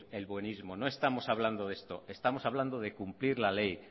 el buenismo no estamos hablando de esto estamos hablando de cumplir la ley